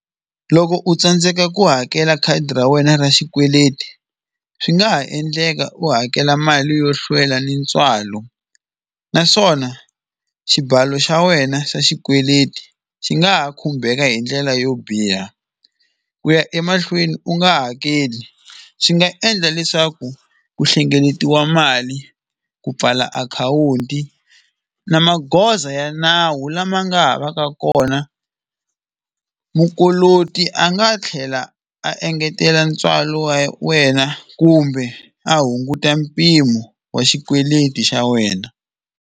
Loko u tsandzeka ku hakela khadi ra wena ra xikweleti swi nga ha endleka u hakela mali yo hlwela ni ntswalo naswona xibalo xa wena xa xikweleti xi nga ha khumbeka hindlela yo biha ku ya emahlweni u nga hakeli swi nga endla leswaku ku hlengeletiwa mali ku pfala akhawunti na magoza ya nawu lama nga ha va ka kona mukoloti a nga tlhela a engetela ntswalo wa wena kumbe a hunguta mpimo wa xikweleti xa wena.